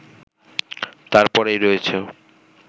তারপরেই রয়েছ